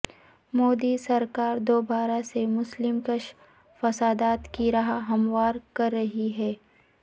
مودی سرکار دوبارہ سے مسلم کش فسادات کی راہ ہموار کر رہی ہے